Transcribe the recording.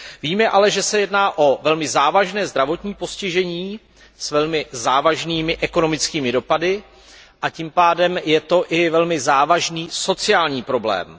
Víme ale, že se jedná o velmi závažné zdravotní postižení s velmi závažnými ekonomickými dopady a tím pádem i velmi závažný sociální problém.